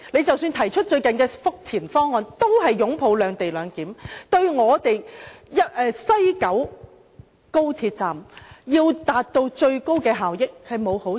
即使他們最近提出的福田方案，也是支持"兩地兩檢"，這做法對西九高鐵站達致最高效益並無好處。